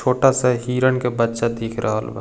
छोटा सा हिरन का बच्चा दिख रहल बा।